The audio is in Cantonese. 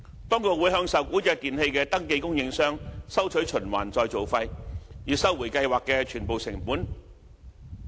當局會向受管制電器的登記供應商收取循環再造費，以收回計劃的全部成本。